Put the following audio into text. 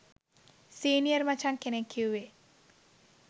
senior මචං කෙනෙක් කිව්වේ